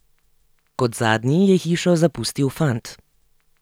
Kot zadnji je hišo zapustil fant.